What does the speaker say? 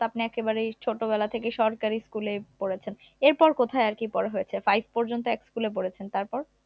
ছোট বেলা থেকে সরকারি school ই পড়েছেন এরপর কোথায় আর কি পড়া হয়েছে five পর্যন্ত এক school এ পড়েছেন তারপর